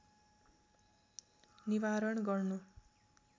निवारण गर्नु